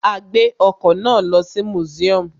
A gbé ọkọ̀ náà lọ sí museum